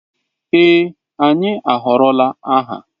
Ee anyị ahọrọla aha.